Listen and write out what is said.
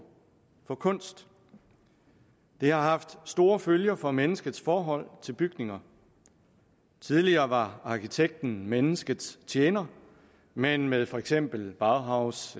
for kunst det har haft store følger for menneskets forhold til bygninger tidligere var arkitekten menneskets tjener men med for eksempel bauhaus